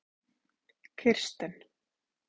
Kirsten